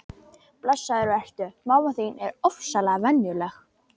Blessaður vertu, mamma þín er ofsalega venjuleg.